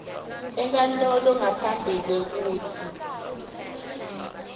enkantolo ngaphambi kwekutsi